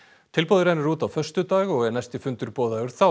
tilboðið rennur út á föstudag og er næsti fundur boðaður þá